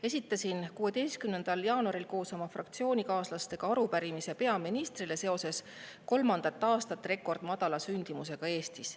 Esitasin 16. jaanuaril koos oma fraktsioonikaaslastega arupärimise peaministrile kolmandat aastat rekordmadala sündimuse kohta Eestis.